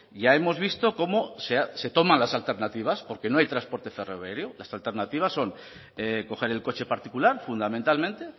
ya hemos visto cómo se toman las alternativas porque no hay transporte ferroviario las alternativas son coger el coche particular fundamentalmente